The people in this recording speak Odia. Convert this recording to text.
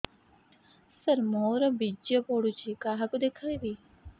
ସାର ମୋର ବୀର୍ଯ୍ୟ ପଢ଼ୁଛି କାହାକୁ ଦେଖେଇବି